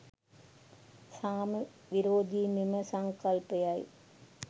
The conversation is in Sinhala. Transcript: සාම විරෝධි මෙම සංකල්පයයි.